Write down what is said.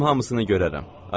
Özüm hamısını görərəm.